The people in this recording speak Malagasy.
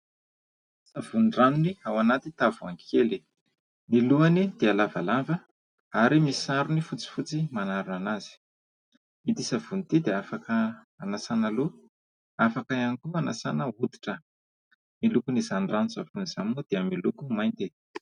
Savony ranony ao anaty tavoahangy kely. Ny lohany dia lavalava ary misy sarony fotsifotsy manarona anazy. Ity savony ity dia afaka hanasàna loha, afaka ihany koa hanasàna hoditra. Ny lokon'izany rano-tsavony izany moa dia miloko mainty.